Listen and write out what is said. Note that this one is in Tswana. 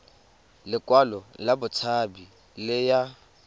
lekwalo la botshabi le ya